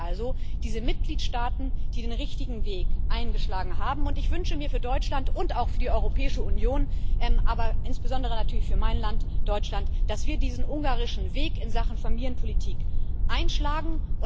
Es gibt sie also, diese Mitgliedstaaten, die den richtigen Weg eingeschlagen haben, und ich wünsche mir für Deutschland und auch für die Europäische Union, aber insbesondere natürlich für mein Land Deutschland, dass wir diesen ungarischen Weg in Sachen Familienpolitik einschlagen.